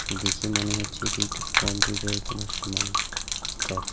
দেখে মনে হচ্ছে এটি একটি কম্পিউটার -এর কোনো সামান সব।